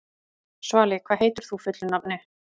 Svali, hvað heitir þú fullu nafni?